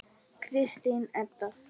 Kristín Edda.